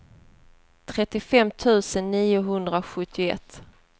trettiofem tusen niohundrasjuttioett